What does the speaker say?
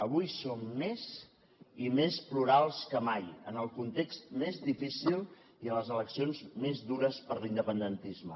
avui som més i més plurals que mai en el context més difícil i a les eleccions més dures per a l’independentisme